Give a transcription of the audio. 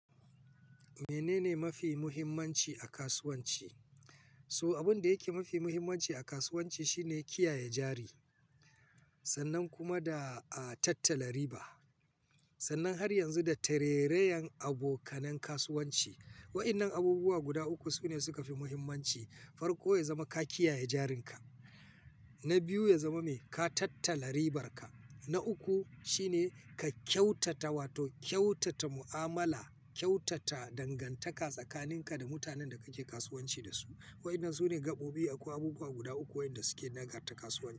Menene mafi muhimmanci a kasuwanci? So abin da yake mafi muhimmanci a kasuwanci shine kiyaye jari sannan kuma da a tattala riba. Sannan har yanzu da tererayen abokanan kasuwanci. Wa'annan abubuwa guda uku sune suka fi muhimmanci. Farko ya zama ka kiyaye jarinka, na biyu ya zama mai ka tattala ribarka, na uku shine ka kyautata wato kyautata mu'amala, kyautata dangantaka tsakaninka da mutanen da kake kasuwanci dasu. Wa'annan sune gaɓoɓi akwai abubuwa guda uku wa'inda suke nagarta kasuwanci.